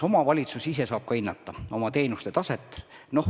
Omavalitsus ise saab ka hinnata oma teenuste taset.